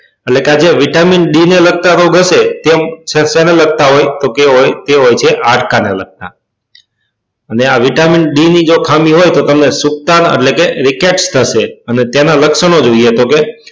એટલે કે આ જે vitamin d ને લગતા રોગ હશે તે આમ સેને લગતા હોય ટોમ કે તે હોય તે હોય હાડકા ને લગતા ને આ vitamin d ની જો ખામી હોય તો તમને સુક્તન એટલે કે થશે